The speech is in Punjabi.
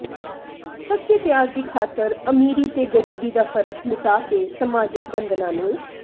ਸੱਚੇ ਪਿਆਰ ਦੀ ਖਾਤਰ ਅਮੀਰੀ ਤੇ ਗਰੀਬੀ ਦਾ ਫਰਕ ਮਿਟਾ ਕੇ ਸਮਾਜਿਕ ਬੰਧਨਾਂ ਨੂੰ